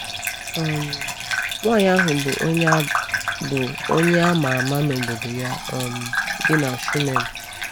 um Nwaanyị ahụ bụ onye a bụ onye a ma ama n’obodo ya um dị na Shunem.